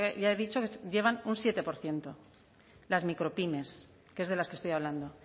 ya he dicho llevan un siete por ciento las micropymes que es de las que estoy hablando